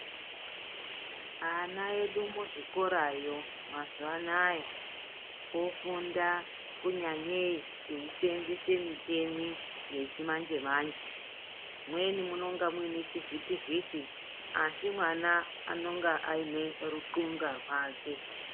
Ana edu muzvikorayo mazuva anaya ofunda kunyanyei eiisenzese micheni yechimanje-manje. Mumweni munonga muine chivhiti-vhiti. Asi mana anonga aiine lutxunga rwake.